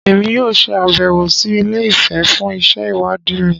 Emi yoo se abewo si Ile-ife fun isẹ iwadi mi